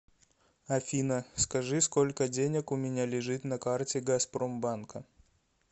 афина скажи сколько денег у меня лежит на карте газпромбанка